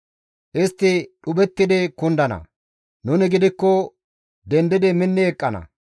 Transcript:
Istti dhuphettidi kundana; nuni gidikko dendidi minni eqqana.